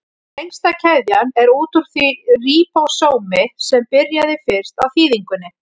Lengsta keðjan er út úr því ríbósómi sem byrjaði fyrst á þýðingunni.